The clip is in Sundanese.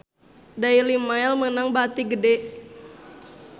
Daily Mail meunang bati gede